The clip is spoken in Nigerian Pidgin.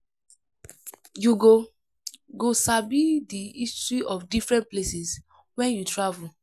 You go go sabi the history of different places when you travel.